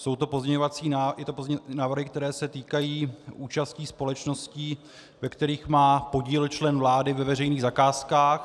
Jsou to pozměňovací návrhy, které se týkají účastí společností, ve kterých má podíl člen vlády, ve veřejných zakázkách.